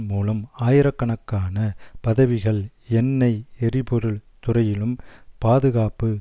மூலம் ஆயிரக்கணக்கான பதவிகள் எண்ணெய் எரிபொருள் துறையிலும் பாதுகாப்பு